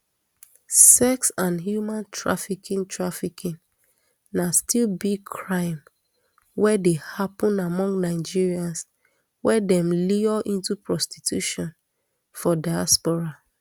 sex and human trafficking trafficking na still big crime wey dey happun among nigerians wey dem lure into prostitution for diaspora